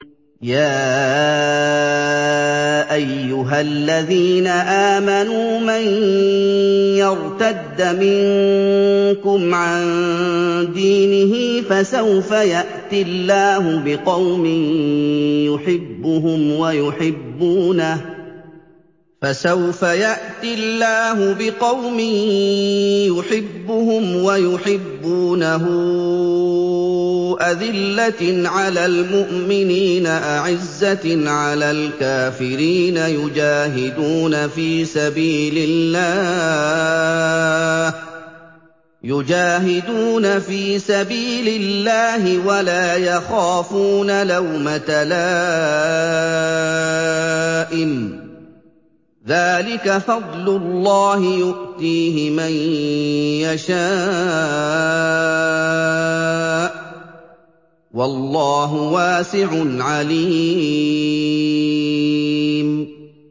يَا أَيُّهَا الَّذِينَ آمَنُوا مَن يَرْتَدَّ مِنكُمْ عَن دِينِهِ فَسَوْفَ يَأْتِي اللَّهُ بِقَوْمٍ يُحِبُّهُمْ وَيُحِبُّونَهُ أَذِلَّةٍ عَلَى الْمُؤْمِنِينَ أَعِزَّةٍ عَلَى الْكَافِرِينَ يُجَاهِدُونَ فِي سَبِيلِ اللَّهِ وَلَا يَخَافُونَ لَوْمَةَ لَائِمٍ ۚ ذَٰلِكَ فَضْلُ اللَّهِ يُؤْتِيهِ مَن يَشَاءُ ۚ وَاللَّهُ وَاسِعٌ عَلِيمٌ